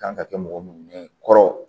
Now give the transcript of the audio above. Kan ka kɛ mɔgɔ mun ye kɔrɔ